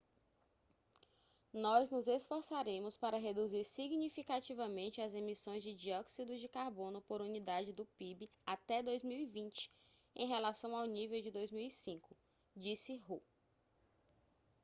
nós nos esforçaremos para reduzir significativamente as emissões de dióxido de carbono por unidade do pib até 2020 em relação ao nível de 2005 disse hu